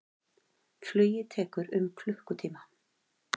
Flugið tekur um klukkutíma.